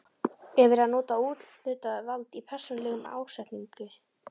Er verið að nota úthlutað vald í persónulegum ásetningi?